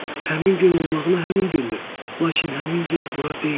Həmin gün olmağına həmin gündür, lakin həmin yer bura deyil.